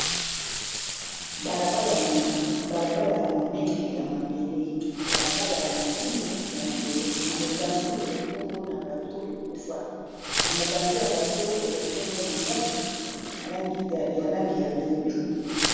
Balabala ya monene ya mabele, balabala ya monene ya mabele na mopanzi ezali bongo na bato ekufa na mopanzi ya bato ezali bongo na ndaku ya langi ya pembe.